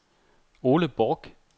Ole Borch